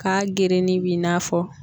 K'a gerenin b'i n'a fɔ.